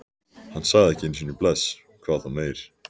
Hann sagði ekki einu sinni bless, hvað þá meir.